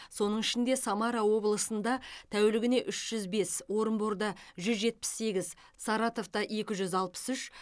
соның ішінде самара облысында тәулігіне үш жүз бес орынборда жүз жетпіс сегіз саратовта екі жүз алпыс үш